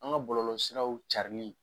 An ga bɔlɔlɔsiraw carili